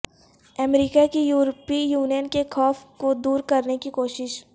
امریکہ کی یورپی یونین کے خوف کو دور کرنے کی کوشش